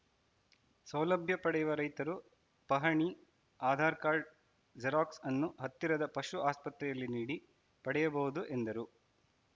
ಸೌಲಭ್ಯ ಪಡೆಯುವ ರೈತರು ಪಹಣಿ ಆಧಾರ್‌ ಕಾರ್ಡ್‌ ಜೆರಾಕ್ಸ್‌ ಅನ್ನು ಹತ್ತಿರದ ಪಶು ಆಸ್ಪತ್ರೆಯಲ್ಲಿ ನೀಡಿ ಪಡೆಯಬಹುದು ಎಂದರು